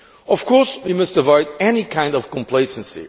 Of course, we must avoid any kind of complacency.